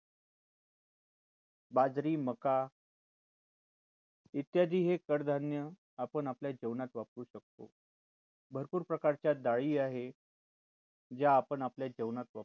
बाजरी मका इत्यादी हे कडधान्य आपण आपल्या जेवणात वापरू शकतो भरपूर प्रकारच्या डाळी आहे जे आपण आपल्या जेवणात वापरू शकतो.